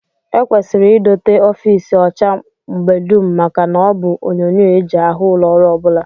E kwesịrị idote ofiisi ọcha mgbe dum maka na ọ bụ onyonyoo e ji ahụ ụlọọrụ ọ bụla